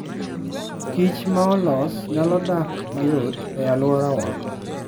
kich maolos nyalo dak mayot e aluorawa.